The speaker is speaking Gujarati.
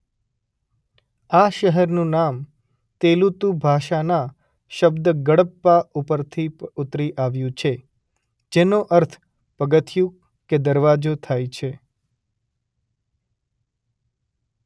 આ શહેરનું નામ તેલુતુ ભાસાના શબ્દ ગડપ્પા પરથી ઉતરી આવ્યું છે જેનો અર્થ પગથિયું કે દરવાજો થાય છે.